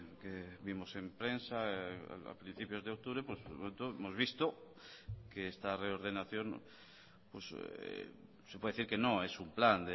que vimos en prensa a principios de octubre hemos visto que esta reordenación se puede decir que no es un plan